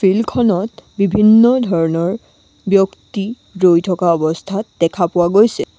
Field খনত বিভিন্ন ধৰণৰ ব্যক্তি ৰৈ থকা অৱস্থাত দেখা পোৱা গৈছে।